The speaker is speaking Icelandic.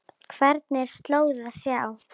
Hvergi er slóð að sjá.